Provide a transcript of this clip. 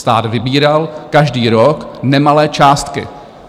Stát vybíral každý rok nemalé částky.